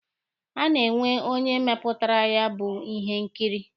A na-enwe onye mepụtara ya bụ ihe nkiri.